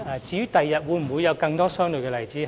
至於日後會否有更多相類的例子？